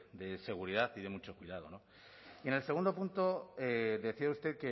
de seguridad y de mucho cuidado y en el segundo punto decía usted